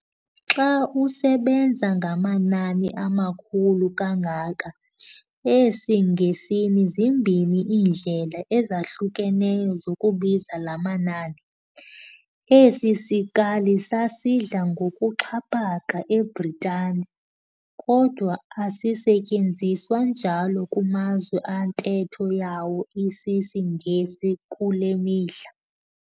Xa usebenza ngamanani amakhulu kangaka, esiNgesini zimbini iindlela ezahlukeneyo zokubiza laa manani. Esi sikali sasidla ngokuxhaphaka eBritani, kodwa asisetyenziswa njalo kumazwe antetho yawo isisingesi kule mihla.